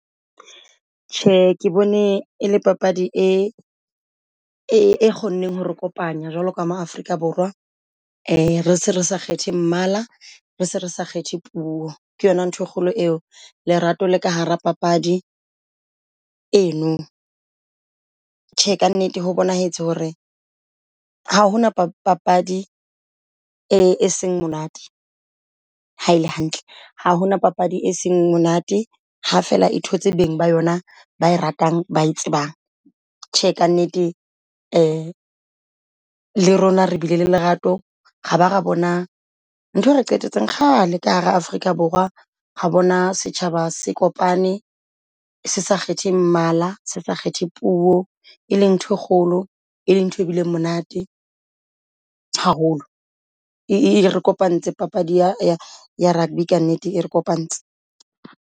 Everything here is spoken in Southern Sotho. Tjhe, ke bone e le papadi e e kgonneng ho re kopanya jwalo ka ma Afrika Borwa, e re se re sa kgethe mmala rese re sa kgethe puo ke yona nthwe kgolo eo. Lerato la ka hara papadi eno. Tjhe ka nnete ho bonahetse hore ha hona papadi e seng monate ha ele hantle. Ha hona papadi e seng monate ha fela e thotse beng ba yona ba ratang bae tsebang. Tjhe ka nnete le rona re bile le lerato ra ba ra bona ntho e re qetetse kgale ka hara Afrika Borwa. Ra bona setjhaba se kopane se sa kgethe mmala se sa kgethe puo e leng nthoe kgolo, e leng ntho e bile monate haholo. E re kopantse papadi ya ya rugby ka nnete, e re kopantse.